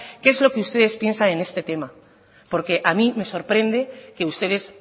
qué es lo que ustedes piensan en este tema porque a mí me sorprende que ustedes